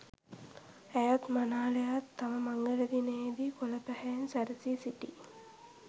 ඇයත් මනාලයාත් තම මංගල දිනයේ දී කොළ පැහැයෙන් සැරසී සිටි